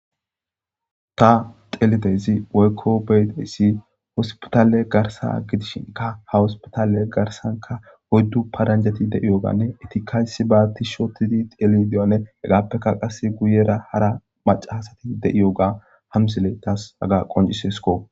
Ta xeellidayzi woykko beyidayssi wosppitalae garsa gidishinka ha hospitale garsanka oyddu paranjjeti de7iyoganne etikka issibaa tishi ottidi xelideyowanne hegaappekka qasse guyera hara macahasati de7iyooga hamsile taas haga qoncciseskko.